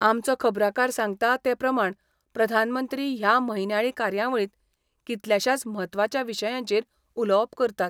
आमचो खबराकार सांगता ते प्रमाण प्रधानमंत्री ह्या म्हयन्याळी कार्यावळींत कितल्याशाच म्हत्वाच्या विशयांचेर उलोवप करतात.